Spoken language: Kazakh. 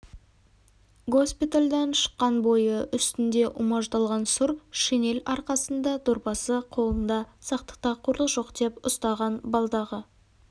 госпитальдан шыққан бойы үстінде умаждалған сұр шинель арқасында дорбасы қолында сақтықта қорлық жоқ деп ұстаған балдағы